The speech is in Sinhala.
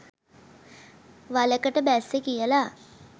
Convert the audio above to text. වලකට බැස්සේ කියලා